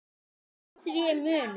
Á því er munur.